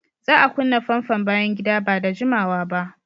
Za a kunna famfon bayan gida ba da jimawa ba.